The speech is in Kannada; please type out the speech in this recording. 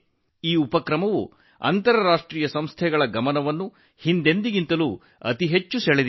ಈ ಉಪಕ್ರಮವು ಅಂತರರಾಷ್ಟ್ರೀಯ ಸಂಸ್ಥೆಗಳ ಗಮನ ಸೆಳೆದ ರೀತಿ ಅಭೂತಪೂರ್ವವಾಗಿದೆ